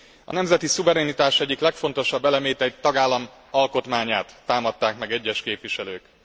A nemzeti szuverenitás egyik legfontosabb elemét, egy tagállam alkotmányát támadták meg egyes képviselők.